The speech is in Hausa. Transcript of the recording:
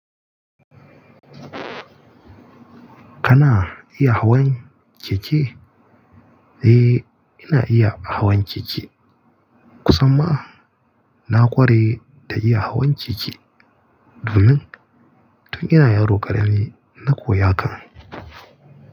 Kana iya hawan keke? Eh, ina iya hawan keke. Kusan ma na ƙware ta iya hawan keke domin tun ina yaro ƙarami na koya haka.